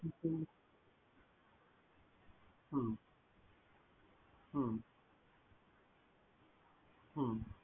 হুম হুম হুম হুম।